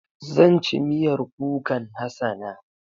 Zan ci miyar kukan Hassana.